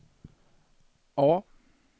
A